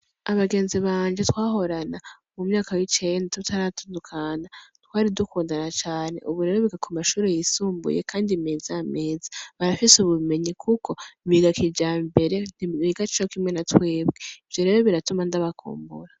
Abagenzi banje twahorana mu mwaka w'icenda tutaratandukana, twari dukundana cane. Ubu rero biga ku mashure yisumbuye kandi meza meza. Barafise ubumenyi kuko biga kijambere, ntibiga kimwe na twebwe. Ivyo rero biratuma ndabakumbura.